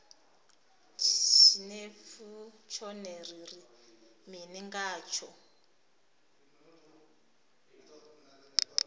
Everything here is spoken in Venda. tshinefu tshone ri ri mini ngatsho